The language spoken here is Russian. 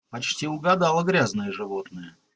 почти угадала грязное животное